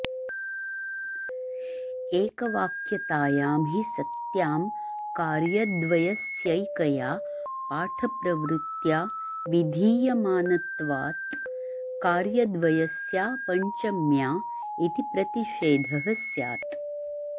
एकवाक्यतायां हि सत्यां कार्यद्वयस्यैकया पाठप्रवृत्या विधीयमानत्वात् कार्यद्वयस्यापञ्चम्या इति प्रतिषेधः स्यात्